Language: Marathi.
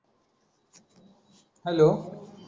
हॅलो